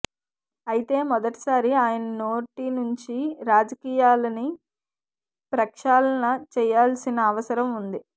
అయితే మొదటి సారి ఆయన నోటి నుంచి రాజకీయాలని ప్రక్షాళన చేయాల్సిన అవసరం వుంది